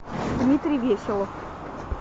дмитрий веселов